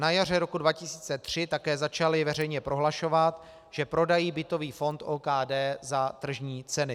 Na jaře roku 2003 také začali veřejně prohlašovat, že prodají bytový fond OKD za tržní centy.